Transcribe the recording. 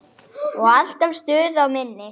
Og alltaf stuð á minni.